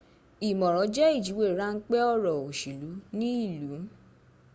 ìmọ̀ran jẹ̀ ìjúwé ránpé ọ̀rọ̀ òṣèlú ní ìlú